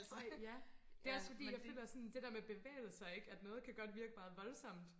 ej ja det er også fordi jeg føler sådan det der med bevægelser ik at noget kan godt virke meget voldssomt